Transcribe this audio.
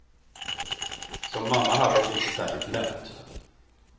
Som mamma hade hon det inte särskilt lätt.